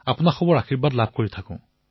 আপোনালোকৰ আশীৰ্বাদ বৰষি থাকক